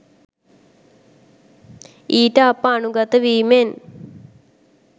ඊට අප අනුගත වීමෙන්